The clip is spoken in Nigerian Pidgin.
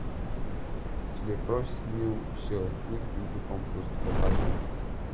she dey crush snail shell mix into compost for calcium